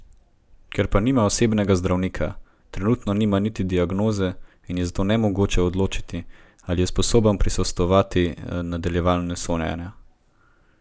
Ker pa nima osebnega zdravnika, trenutno nima niti diagnoze in je zato nemogoče odločiti, ali je sposoben prisostvovati nadaljevanju sojenja.